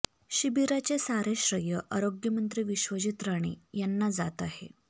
शिबिराचे सारे श्रेय आरोग्यमंत्री विश्वजीत राणे यांना जात आहे